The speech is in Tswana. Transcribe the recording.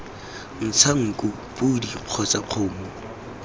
ntsha nku podi kgotsa kgomo